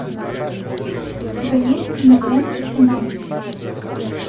у тебя есть кинолента феномен